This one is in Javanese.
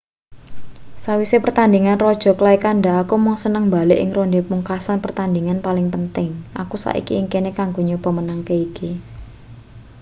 sawise pertandhingan raja clay kandha aku mung seneng mbalik ing ronde pungkasan pertandhingan paling penting aku saiki ing kene kanggo nyoba menangke iki